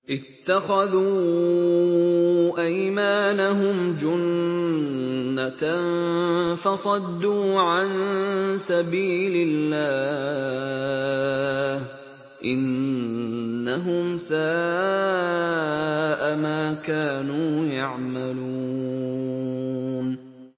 اتَّخَذُوا أَيْمَانَهُمْ جُنَّةً فَصَدُّوا عَن سَبِيلِ اللَّهِ ۚ إِنَّهُمْ سَاءَ مَا كَانُوا يَعْمَلُونَ